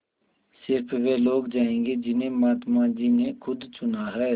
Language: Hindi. स़िर्फ वे लोग जायेंगे जिन्हें महात्मा जी ने खुद चुना है